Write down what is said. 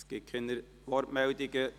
Es gibt keine Wortmeldungen.